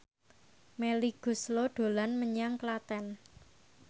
Melly Goeslaw dolan menyang Klaten